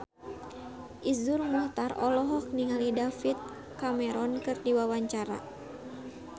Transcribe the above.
Iszur Muchtar olohok ningali David Cameron keur diwawancara